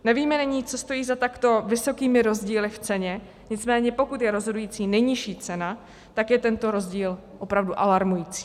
Nevíme nyní, co stojí za takto vysokými rozdíly v ceně, nicméně pokud je rozhodující nejnižší cena, tak je tento rozdíl opravdu alarmující.